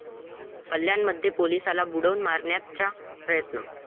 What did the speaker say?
कल्याणमध्ये पोलिसाला बुडवून मारण्याचा प्रयत्न